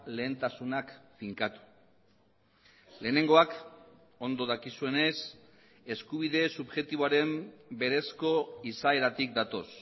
lehentasunak finkatu lehenengoak ondo dakizuenez eskubide subjektiboaren berezko izaeratik datoz